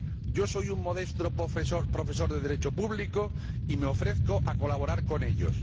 Yo soy un modesto profesor de Derecho público y me ofrezco a colaborar con ellos.